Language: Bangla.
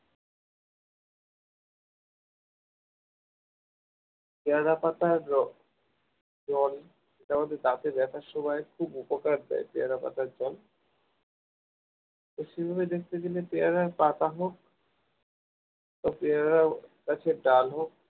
পেয়ারা পাতার জল দাঁতের ব্যথার সময় খুব উপকার দেয় পেয়ারা পাতার জল সেভাবে দেখতে গেলে পেয়ারার পাতা হোক পেয়ারা গাছের ডাল হোক